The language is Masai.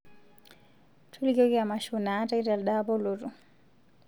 tolikioki emasho naatae telde apa olotu